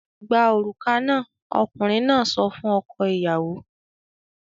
"Gba òrùka náà!" Ọkùnrin náà sọ fún ọkọ-ìyàwó.